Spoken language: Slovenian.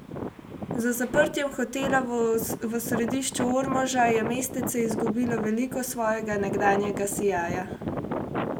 Z zaprtjem hotela v središču Ormoža je mestece izgubilo veliko svojega nekdanjega sijaja.